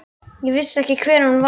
Ég vissi ekki hver hún var.